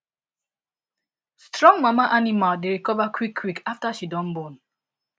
strong mama animal dey recover quick quick after she don born